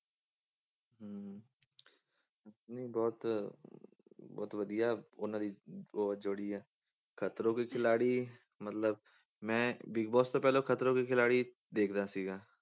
ਨਹੀਂ ਬਹੁਤ ਬਹੁਤ ਵਧੀਆ ਉਹਨਾਂ ਦੀ ਉਹ ਜੋੜੀ ਆ ਖਤਰੋਂ ਕੇ ਖਿਲਾਡੀ ਮਤਲਬ ਮੈਂ ਬਿਗ ਬੋਸ ਤੋਂ ਪਹਿਲਾਂ ਖਤਰੋਂ ਕੇ ਖਿਲਾਡੀ ਦੇਖਦਾ ਸੀਗਾ